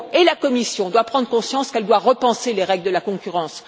La Commission doit prendre conscience qu'elle doit repenser les règles de la concurrence.